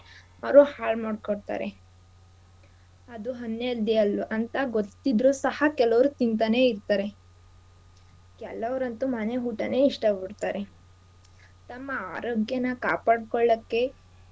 ಅವ್ರು ಹಾಳ್ ಮಾಡ್ಕೊತಾರೆ ಅದು unhealthy ಅಲ್ ಅಂತ ಗೊತ್ತಿದ್ರೂ ಸಹ ಕೆಲವ್ರು ತಿಂತಾನೇ ಇರ್ತಾರೆ ಕೆಲವ್ರಂತು ಮನೆ ಊಟಾನೇ ಇಷ್ಟ ಪಡ್ತಾರೆ ತಮ್ಮ ಆರೋಗ್ಯನಾ ಕಾಪಾಡ್ಕೊಳಕ್ಕೆ.